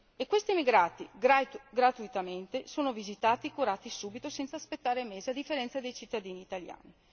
E questi emigrati, gratuitamente, sono visitati e curati subito, senza aspettare mesi, a differenza dei cittadini italiani.